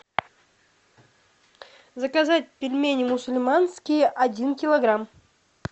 заказать пельмени мусульманские один килограмм